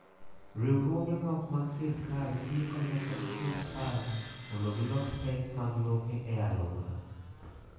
Riwruoge ma ok mag sirkal tiyo kanyakla gi sirkal mondo gilos pek mag lope e alwora.